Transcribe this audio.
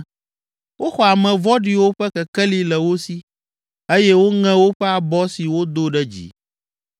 Woxɔ ame vɔ̃ɖiwo ƒe kekeli le wo si eye woŋe woƒe abɔ si wodo ɖe dzi.